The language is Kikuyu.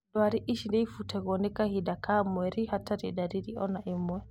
Ndwari ici nĩibuatagwo nĩ kahinda ka mweri hatarĩ ndariri ona ĩmwe